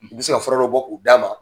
U bɛ se ka fɔra dɔ bɔ k'o d'a ma.